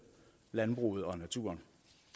landbruget og naturen